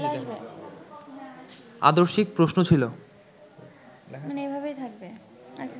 আদর্শিক প্রশ্ন ছিল